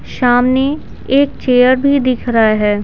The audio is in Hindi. सामने एक चेयर भी दिख रहा है।